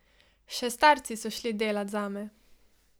Še starci so šli delat zame.